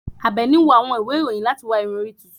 Abeeni n wo àwọn ìwe iroyin lati wa iru ìrun orí tuntun